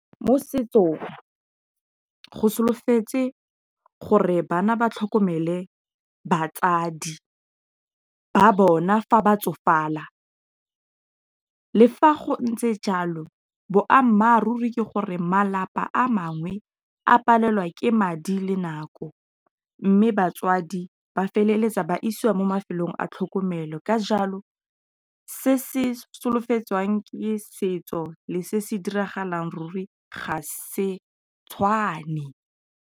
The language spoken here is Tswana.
Mo setsong go solofetse gore bana ba tlhokomele batsadi ba bona fa ba tsofala, le fa go ntse jalo boammaaruri ke gore, malapa a mangwe a palelwa ke madi le nako, mme batswadi ba feleletsa ba isiwa mo mafelong a tlhokomelo ka jalo, se se solofetsweng ke setso le se se diragalang ruri ga se tshwane.